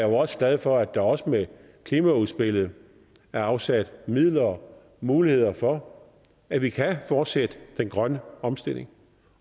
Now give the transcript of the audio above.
jo også glad for at der også med klimaudspillet er afsat midler muligheder for at vi kan fortsætte den grønne omstilling